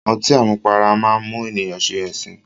Ọtí àmupara máá ń mú ènìyàn ṣe ẹ̀sín